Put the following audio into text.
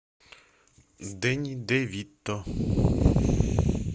дэнни де вито